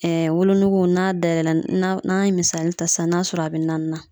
Ɛɛ wolonugu n'a dayɛlɛ n'an n'an ye misali ta sisan n'a sɔrɔ a be naani na